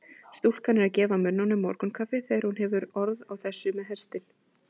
Stúlkan er að gefa mönnunum morgunkaffið þegar hún hefur orð á þessu með hestinn.